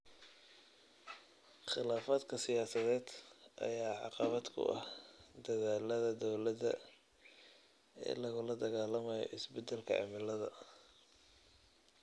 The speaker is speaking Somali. Khilaafaadka siyaasadeed ayaa caqabad ku ah dadaallada dowladda ee lagula dagaallamayo isbeddelka cimilada.